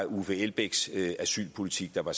uffe elbæks asylpolitik der var